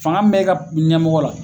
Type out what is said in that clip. Fanga mun be ka ɲɛmɔgɔ la